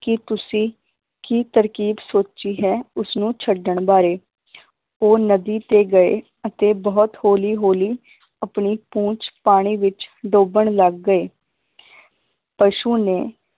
ਕਿ ਤੁਸੀ ਕੀ ਤਰਕੀਬ ਸੋਚੀ ਹੈ ਉਸਨੂੰ ਛੱਡਣ ਬਾਰੇ ਉਹ ਨਦੀ ਤੇ ਗਏ ਅਤੇ ਬਹੁਤ ਹੌਲੀ ਹੌਲੀ ਆਪਣੀ ਪੂੰਛ ਪਾਣੀ ਵਿਚ ਡੋਬਣ ਲੱਗ ਗਏ ਪਸ਼ੂ ਨੇ